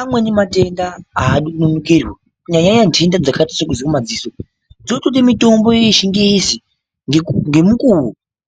Amweni matenda aadi kunonokerwa. Kunyanya nyanya nhenda dzakaita sekuzwa madziso. Dzinotoda mitombo yechingezi ngemukuwo.